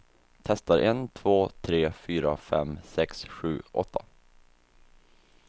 Testar en två tre fyra fem sex sju åtta.